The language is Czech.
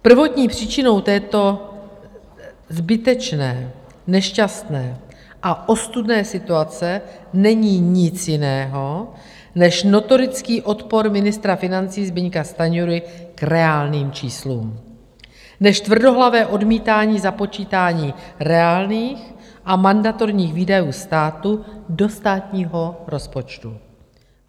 Prvotní příčinou této zbytečné, nešťastné a ostudné situace není nic jiného než notorický odpor ministra financí Zbyňka Stanjury k reálným číslům, než tvrdohlavé odmítání započítání reálných a mandatorních výdajů státu do státního rozpočtu.